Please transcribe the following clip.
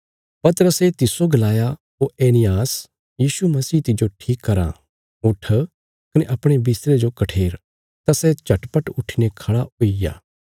पतरसे तिस्सो गलाया ओ एनियास यीशु मसीह तिज्जो ठीक कराँ उट्ठ कने अपणे बिस्तरे जो कठेर तां सै झटपट उट्ठीने खड़ा हुई गया